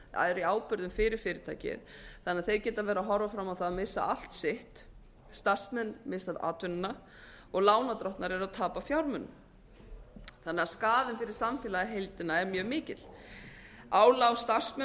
fyrir fyrirtæki hann að þeir ætla verið að horfa fram á það að missa allt sitt starfsmenn missaatvinnuna og lánardrottnar eru að tapa fjármunum þannig að skaðinn fyrir samfélagið í heildina er mjög mikill álag á starfsmenn